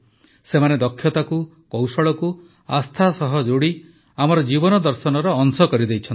ସେମାନେ ଦକ୍ଷତାକୁ କୌଶଳକୁ ଆସ୍ଥା ସହ ଯୋଡ଼ି ଆମର ଜୀବନଦର୍ଶନର ଅଂଶ କରିଦେଇଛନ୍ତି